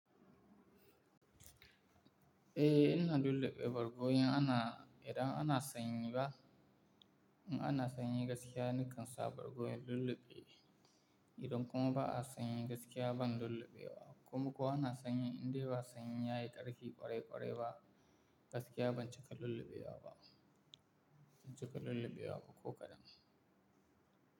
Eh, ina lulluɓe bargo in ana, idan ana sanyi ba, in ana sanyi gaskiya, ni kansa bargo in lulluɓe. Idan kuma ba a sanyi gaskiya ban lulluɓewa. Kuma ko ana sanyi indai ba sanyi yayi ƙarfi ƙwarai ƙwarai ba, gaskiya ban cika lulluɓewa ba. Ban cika lulluɓewa ba ko kadan.